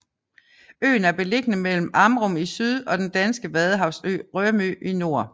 Øen er beliggende mellem Amrum i syd og den danske vadehavsø Rømø i nord